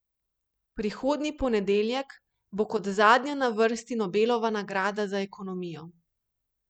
Prihodnji ponedeljek bo kot zadnja na vrsti Nobelova nagrada za ekonomijo.